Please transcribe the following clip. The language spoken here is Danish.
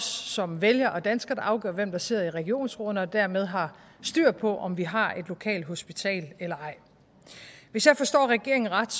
som vælgere og danskere afgør hvem der sidder i regionsrådene og dermed har styr på om vi har et lokalt hospital eller ej hvis jeg forstår regeringen ret